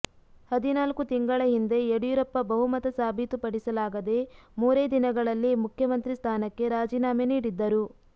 ಹದಿನಾಲ್ಕು ತಿಂಗಳ ಹಿಂದೆ ಯಡಿಯೂರಪ್ಪ ಬಹುಮತ ಸಾಬೀತುಪಡಿಸಲಾಗದೆ ಮೂರೇ ದಿನಗಳಲ್ಲಿ ಮುಖ್ಯಮಂತ್ರಿ ಸ್ಥಾನಕ್ಕೆ ರಾಜೀನಾಮೆ ನೀಡಿದ್ದರು